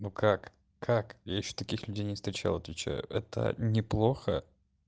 ну как как я ещё таких людей не встречал отвечаю это неплохо